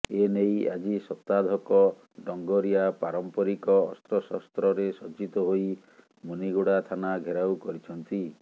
ଏନେଇ ଆଜି ଶତାଧକ ଡଙ୍ଗରିଆ ପାରମ୍ପରିକ ଅସ୍ତ୍ରଶସ୍ତ୍ରରେ ସଜ୍ଜିତ ହୋଇ ମୁନିଗୁଡା ଥାନା ଘେରାଉ କରିଛନ୍ତି